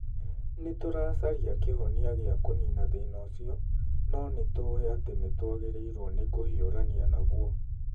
Nĩ tũracaria kĩhonia gĩa kũniina thĩna ũcio, no nĩ tũĩ atĩ nĩ twagĩrĩirũo nĩ kũhiũrania naguo.'